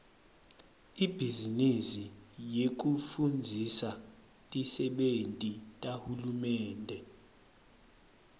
ibhizinisi yekufundzisa tisebenti tahulumende